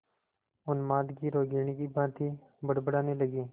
उन्माद की रोगिणी की भांति बड़बड़ाने लगी